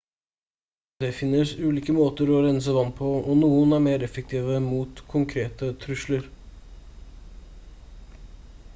det finnes ulike måter å rense vann på og noen er mer effektive mot konkrete trusler